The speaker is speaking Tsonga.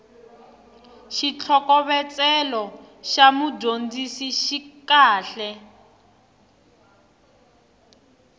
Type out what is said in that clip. xitlhokovetselo xa mudyondzisi xi kahle